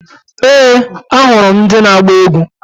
Ee! Ahụrụ m ndị na-agba egwu.